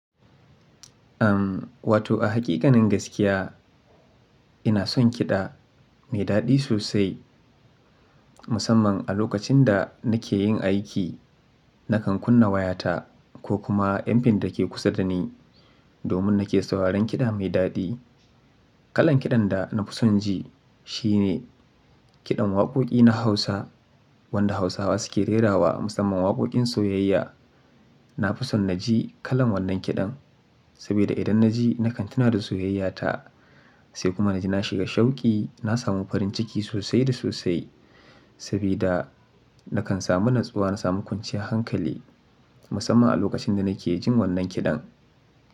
Am wato a hakikanin gaskiya ina son kiɗa mai daɗi sosai musamman a lokacin da nake yin aiki nakan kunna wayata ko kuma Mpin da ke kusa da ni domin nake sauraron kiɗa mai daɗi. Kalan kiɗan da na fi son ji shi ne kiɗan waƙoƙi na Hausa wanda Hausawa suke rera wa musamman waƙoƙin soyayya. Na fi son na ji kalan wannan kiɗan sabida idan na ji nakan tuna da soyayyata sai kuma na ji na shiga shauki na samu farin ciki sosai da sosai sabida nakan samu natsuwa na samu kwanciyar hankali musamman a lokacin da nake jin wannan kiɗan.